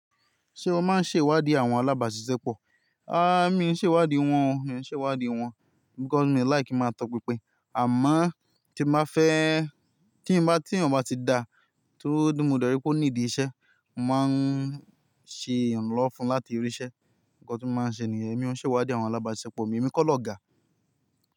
Ṣé o máa ń ṣe ìwádìí àwọn alábàáṣiṣẹ́ pọ̀? Mi i ṣe ìwádìí wọn o, mi ò ṣe ìwádìí wọn because mi like ki máa tọ pinpin àmọ́ tí mo bá fẹ́, tí n bá, tí eeyan bá ti da tó mọ de rí pé ó need iṣẹ́, mo màá n ṣe ìrànlọ́wọ́ fún un láti ríṣẹ́. Nkan tí mo maá ń ṣe nìyẹn, èmi ò n ṣe ìwádìí àwọn alábáàṣiṣẹ́ pọ̀, èmi kọ́ l'ọ̀gá.